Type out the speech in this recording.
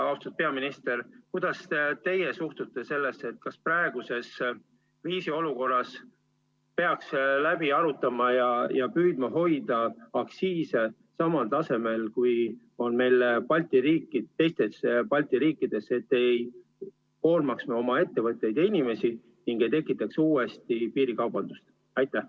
Austatud peaminister, kuidas teie sellesse suhtute, kas praeguses kriisiolukorras peaks asjad läbi arutama ja püüdma hoida aktsiise samal tasemel, kui on teistes Balti riikides, et me ei koormaks oma ettevõtteid ja inimesi ega tekitaks uuesti piirikaubandust?